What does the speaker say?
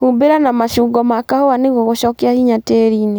Humbĩra na mashungo ma kahũa nĩguo gũshokia hinya tĩriinĩ